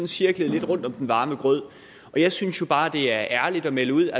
cirklet lidt rundt om den varme grød jeg synes jo bare det er ærligt at melde ud